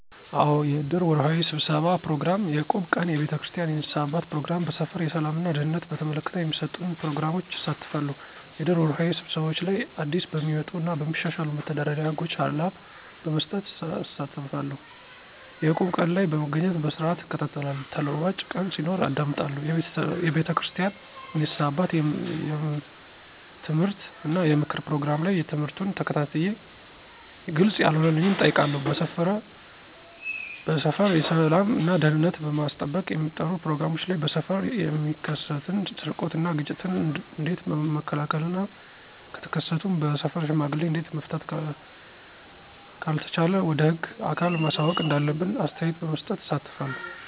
አዎ! የእድር ወርሃዊ ስብሠባ ፕሮግራም፣ የእቁብ ቀን፣ የቤተክርስቲያን የንስሐ አባት ፕሮግራም፣ በሠፈር የሠላም እና ደህንነትን በተመለከተ በሚሠጡን ፕሮግራሞች እሳተፋለሁ። -የእድር ወርሃዊ ስብሰባዎች ላይ አዲስበሚወጡ እና በሚሻሻሉ መተዳደሪያ ህጎች ሀላብ በመስጠት እሳተፋለሁ። - የእቁብ ቀን ላይ በመገኘት በስርዓትእከታተላለሁ ተለዋጭ ቀን ሲኖር አዳምጣለሁ። የቤተክርስቲያን የንስሐ አባት የምትምህርት እና የምክር ፕሮግራም ላይ ትምህርቱን ተከታትየ ግልፅ ያለሆነልኝን እጠይቃለሁ። -በሠፈር የሠላም እና ደህንነትን ለማስጠበቅ በሚጠሩ ፕሮግራሞች ላይ በሠፈር የሚከሠትን ስርቆት እና ግጭቶችን ኦንዴት መከላከል እና ከተከሠቱም በሠፈር ሽማግሌ እዴት መፍታት ካልተቻለ ወደ ህግ አካል ማሳወቅ እንዳለብን አስተያየት በመስጠት እሳተፋለሁ።